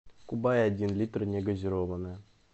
кубай один литр негазированная